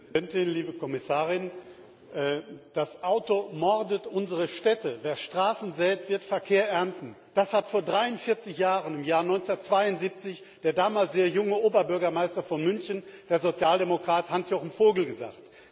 Frau Präsidentin, liebe Kommissarin! Das Auto mordet unsere Städte! Wer Straßen sät, wird Verkehr ernten! das hat vor 43 Jahren, im Jahr 1972, der damals sehr junge Oberbürgermeister von München, der Sozialdemokrat Hans Jochen Vogel, gesagt.